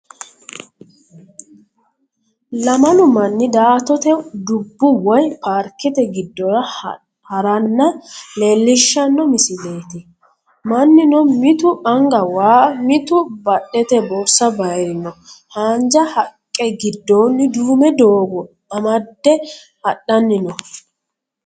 Lamalu manni daa"atote dubbu woyi paarkete giddora haranna leellishshanno misileeti. Mannino mitu anga was mitu badhete borsa baayirino. Haanja haqqe giddoonni duume doogo amadde hadhanni no.